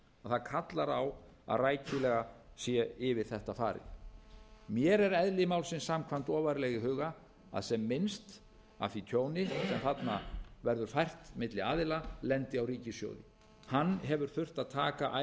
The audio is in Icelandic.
að það kallar á að rækilega sé yfir þetta farið mér er eðli málsins samkvæmt ofarlega í huga að sem minnst af því tjóni sem þarna verður fært milli aðila lendi á ríkissjóði hann hefur þurft að taka